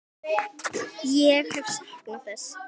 Ég hef saknað þess.